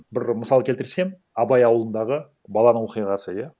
бір мысал келтірсем абай ауылындағы баланың оқиғасы иә